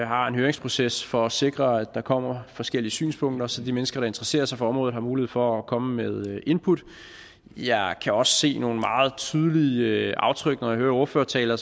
har en høringsproces for at sikre at der kommer forskellige synspunkter så de mennesker der interesserer sig for området har mulighed for at komme med input jeg kan også se nogle meget tydelige aftryk når man hører ordførertaler